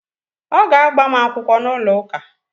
Ọ ga-agbam akwụkwọ n’ụlọ ụka